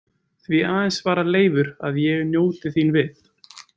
Því aðeins, svarar Leifur, „að ég njóti þín við“